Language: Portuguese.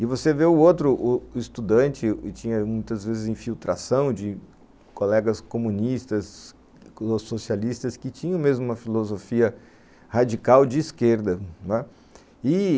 E você vê o outro u estudante que tinha, muitas vezes, infiltração de colegas comunistas ou socialistas que tinham mesmo uma filosofia radical de esquerda, não é? i